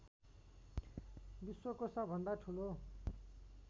विश्वको सबभन्दा ठुलो